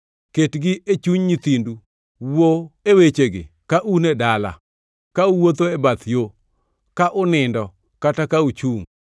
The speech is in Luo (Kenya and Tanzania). Ketgi e chuny nyithindu, wuo e wechego ka un e dala, ka uwuotho e bath yo, ka unindo kata ka uchungʼ.